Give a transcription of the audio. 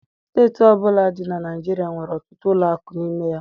Steeti ọbụla dị na Naịjirịa nwere ọtụtụ ụlọ akụ n'ime ya